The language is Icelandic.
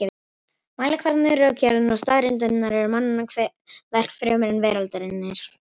Mælikvarðarnir, rökgerðin og staðreyndirnar eru mannanna verk fremur en veraldarinnar.